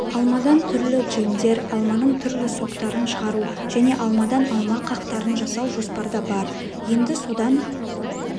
алмадан түрлі джемдер алманың түрлі соктарын шығару және алмадан алма қақтарын жасау жоспарда бар енді содан